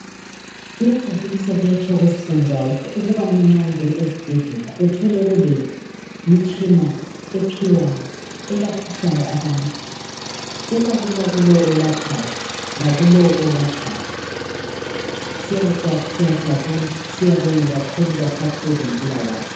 Kuyajabulisa, kuyathokozisa njalo ukubana nxa ungena ezibhedlela, uthole kulemitshina ephiwayo. Elaphisayo abantu. Kuba lula kulowo olaphayo, lalowo olatshwayo. Siyajabula, siyabonga kakhulu, baphathi bezempilakahle.